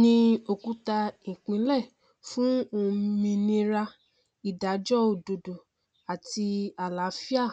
ni òkúta ìpìlẹ fún òmìnira ìdájọ òdodo àti àlàáfíà